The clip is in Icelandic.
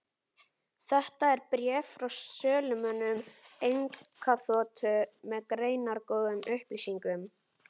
Þetta er bréf frá sölumönnum einkaþotu, með greinargóðum upplýsingum.